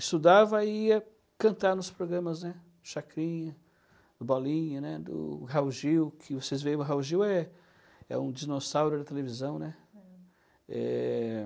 Estudava e ia cantar nos programas, né, do Chacrinha, do Bolinha, né, do Raul Gil, que vocês veem, o Raul Gil é é um dinossauro da televisão, né? Eh...